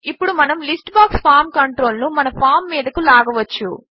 ఇప్పుడు మనము list box form control ను మన ఫామ్ మీదకు లాగవచ్చు